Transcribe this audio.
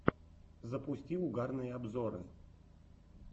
запусти угарные обзоры